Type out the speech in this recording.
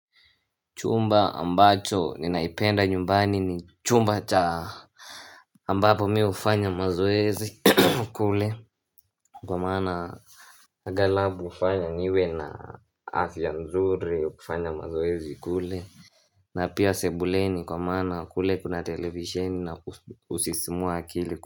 Chumba ambacho ninaipenda nyumbani ni chumba cha ambapo mi ufanya mazoezi kule kwa maana Aghalabu hufanya niwe na afya nzuri kufanya mazoezi kule na pia sebuleni kwa mana kule kuna televisheni na kusisimua akili.